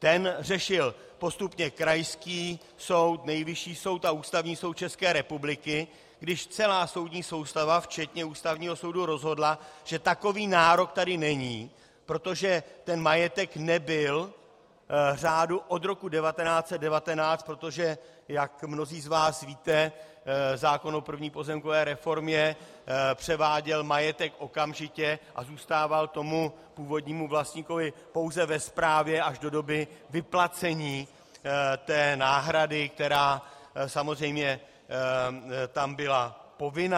Ten řešil postupně krajský soud, Nejvyšší soud a Ústavní soud České republiky, když celá soudní soustava včetně Ústavního soudu rozhodla, že takový nárok tady není, protože ten majetek nebyl řádu od roku 1919, protože jak mnozí z vás víte, zákon o první pozemkové reformě převáděl majetek okamžitě a zůstával tomu původnímu vlastníkovi pouze ve správě až do doby vyplacení té náhrady, která samozřejmě tam byla povinná.